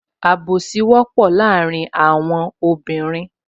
Àbùsí wọ́pọ̀ láàrin àwọn obìnrin